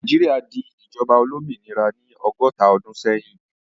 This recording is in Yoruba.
Nàìjíríà di ìjọba olómìnira ní ọgọ́ta ọdún sẹ́yìn.